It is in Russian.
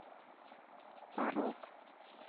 порок